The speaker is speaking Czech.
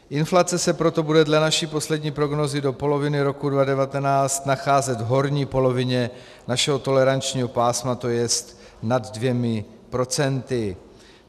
Inflace se proto bude dle naší poslední prognózy do poloviny roku 2019 nacházet v horní polovině našeho tolerančního pásma, to jest nad dvěma procenty.